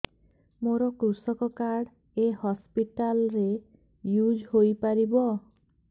ମୋର କୃଷକ କାର୍ଡ ଏ ହସପିଟାଲ ରେ ୟୁଜ଼ ହୋଇପାରିବ